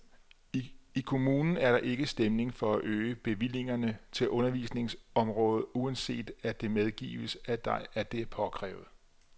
I kommunen er der ikke stemning for at øge bevillingerne til undervisningsområdet, uanset at det medgives, at det er påkrævet.